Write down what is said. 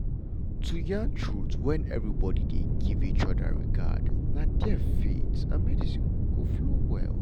to yarn truth when everybody dey give each other regard na there faith and medicine go flow well.